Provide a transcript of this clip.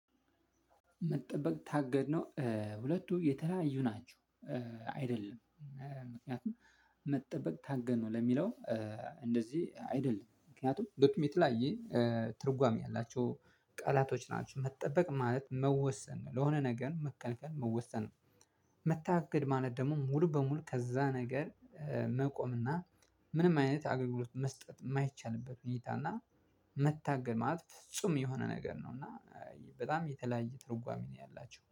መጠበቅ ታገድ ነው ሁለቱ የተለያዩ ናቸው። አይደለም። ምክንያቱም መጠበቅ ታገን ነው ለሚለው። እንደዚህ አይደለም ምክንያቱም ዶክመንት ላይ ይሄ ትርጓሜ ያላቸው ቃላቶች ናቸው። መጠበቅ ማለት መወሰን ነው ለሆነ ነገር መከልከል መወሰን ነው። ማለት ደግሞ ሙሉ በሙሉ ከዛ ነገር። መቆም እና ምንም አይነት አገልግሎት መስጠት የማይቻልበት ውይይት እና። መታገል ማለት ፍጹም የሆነ ነገር ነው። እና በጣም የተለያየ ትርጓሜ ነው ያላቸው